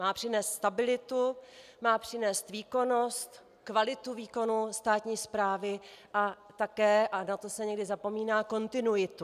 Má přinést stabilitu, má přinést výkonnost, kvalitu výkonu státní správy a také, a na to se někdy zapomíná, kontinuitu.